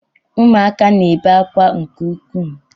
Ụmụaka na-ebe akwa nke ukwuu